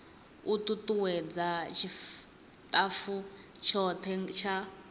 u tutuwedza tshitafu tshothe tsha